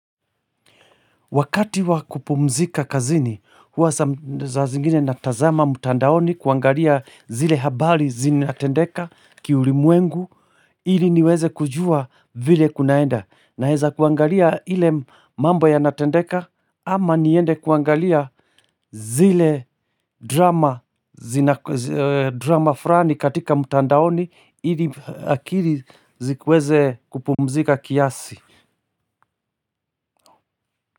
Wakati wa kupumzika kazini, huwa za zingine natazama mtandaoni kuangalia zile habari zinatendeka kiulimwengu, ili niweze kujua vile kunaenda. Naweza kuangalia ile mambo ya natendeka ama niende kuangalia zile drama fulani katika mtandaoni ili akili zikuweze kupumzika kiasi.